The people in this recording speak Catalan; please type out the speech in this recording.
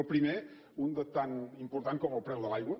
el primer un de tan important com el preu de l’aigua